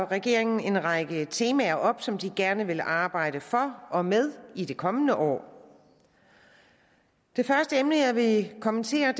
regeringen en række temaer op som den gerne vil arbejde for og med i det kommende år det første emne jeg vil kommentere er